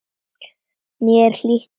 Mér var hlýtt til hans.